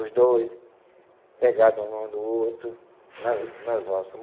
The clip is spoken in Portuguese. Os dois pegados um ao outro nas nas valsas.